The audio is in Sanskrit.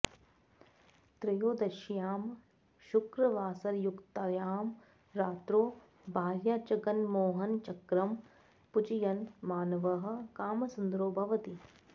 त्रयोदश्यां शुक्रवासरयुक्तायां रात्रौ भार्याजगन्मोहनचक्रं पूजयन् मानवः कामसुन्दरो भवति